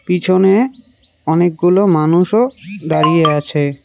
পিছনে অনেকগুলো মানুষও দাঁড়িয়ে আছে।